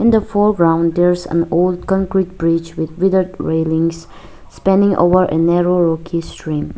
in the foreground there's an old concrete bridge with bigger railings spreading over a narrow water stream.